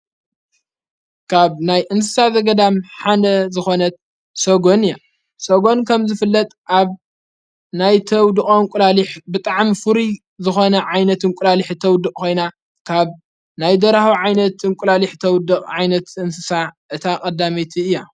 ካብ ናይ እንስሳ ዘገዳም ሓነ ዝኾነት ሰጎን እያ ሰጎን ከም ዝፍለጥ ኣብ ናይ ተውድቖ እንቊላሊሕ ብጥዓም ፉሪ ዝኾነ ዓይነት እንቊላሊሕ ተውድቕ ኾይና ካብ ናይ ደራሁ ዓይነት እንቊላሊሕ ተውድቕ ዓይነት ዘእንስሳ እታ ቐዳሜይቲ እያ።